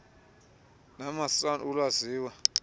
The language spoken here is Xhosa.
nama san alwaziwa